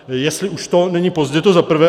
Jestli už to není pozdě, to za prvé.